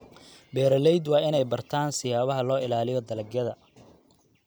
Beeraleydu waa inay bartaan siyaabaha loo ilaaliyo dalagyada.